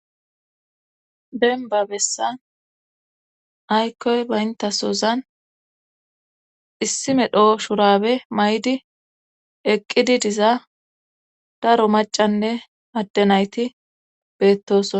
Dembba bessan aykkoy bayttasozan issi medho shuraabe mayidi eqqidi diza daro maccanne adde nayti beettoosona.